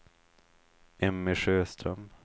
Emmy Sjöström